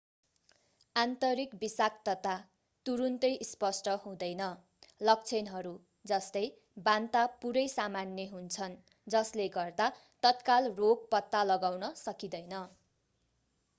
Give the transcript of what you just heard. आन्तरिक विषाक्तता तुरुन्तै स्पष्ट हुँदैन लक्षणहरू जस्तै बान्ता पूरै सामान्य हुन्छन् जस्ले गर्दा तत्काल रोग पत्ता लगाउन सकिदैँन